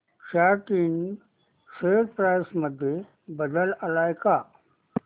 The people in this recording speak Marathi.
सॅट इंड शेअर प्राइस मध्ये बदल आलाय का